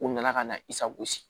U nana ka na i sagosi